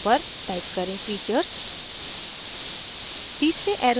दूसरे arrow पर type करें features